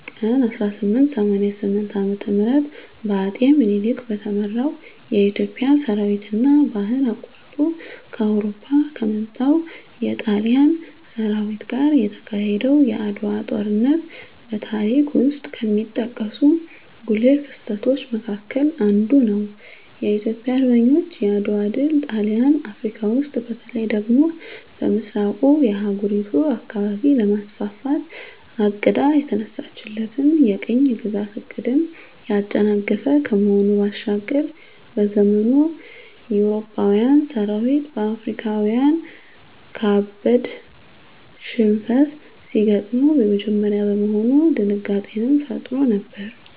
ቀን 1888 ዓ.ም በአጼ ምኒልክ በተመራው የኢትዮጵያ ሠራዊትና ባህር አቋርጦ ከአውሮፓ ከመጣው የጣሊያን ሠራዊት ጋር የተካሄደው የዓድዋው ጦርነት በታሪክ ውስጥ ከሚጠቀሱ ጉልህ ክስተቶች መካከል አንዱ ነው። የኢትዮጵያ አርበኞች የዓድዋ ድል ጣሊያን አፍረካ ውስጥ በተለይ ደግሞ በምሥራቁ የአህጉሪቱ አካባቢ ለማስፋፋት አቅዳ የተነሳችለትን የቅኝ ግዛት ዕቅድን ያጨናገፈ ከመሆኑ ባሻገር፤ በዘመኑ የአውሮፓዊያን ሠራዊት በአፍሪካዊያን ካበድ ሽንፈት ሲገጥመው የመጀመሪያ በመሆኑ ድንጋጤንም ፈጥሮ ነበር።